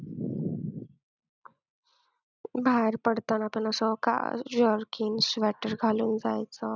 बाहेर पडताना पण असं jerkin, sweater घालून जायचं.